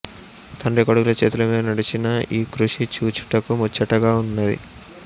తండ్రి కొడుకుల చేతులమీద నడచిన యీకృషి చూచుటకు ముచ్చటగా నున్నది